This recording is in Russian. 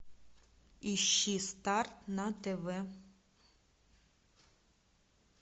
ищи старт на тв